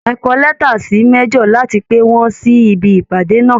Ẹ kọ lẹ́ta sí major láti pè wọ́n sí ibi ìpàdé náà!